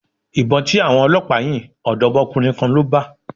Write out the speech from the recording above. Ìbọn tí àwọn Ọlọpa yìn, odomokunrin kan ló bà.